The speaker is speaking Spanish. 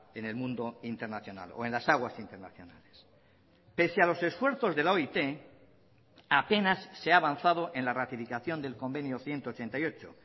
en el mundo internacional o en las aguas internacionales pese a los esfuerzos de la oit apenas se ha avanzado en la ratificación del convenio ciento ochenta y ocho